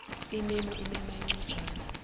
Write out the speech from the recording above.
imemo imemo incwajana